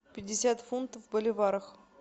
пятьдесят фунтов в боливарах